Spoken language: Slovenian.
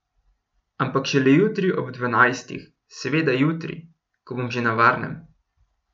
Ampak šele jutri ob dvanajstih, seveda jutri, ko bom že na varnem.